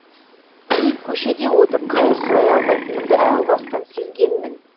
мен көшеде отырып қайыр сұрай алмайтынымды әу бастан сезгенмін